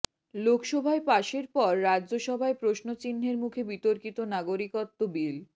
লোকসভায় পাশের পর রাজ্যসভায় প্রশ্নচিহ্নের মুখে বিতর্কিত নাগরিকত্ব বিল